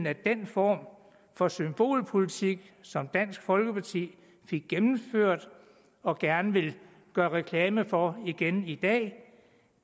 at den form for symbolpolitik som dansk folkeparti fik gennemført og gerne vil gøre reklame for igen i dag